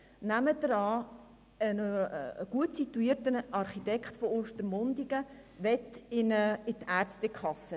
Nehmen Sie an, ein gut situierter Architekt aus Ostermundigen möchte in die Ärztekasse.